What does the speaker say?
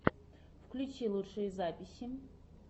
включи лучшие записи